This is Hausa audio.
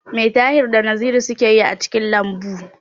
Me Tahir da Naziru suke yi a cikin lambu?